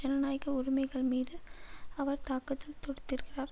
ஜனநாயக உரிமைகள் மீது அவர் தாக்குதல் தொடுத்திருக்கிறார்